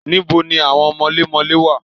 Níbo ni àwọn mọlémọlẹ́ wà?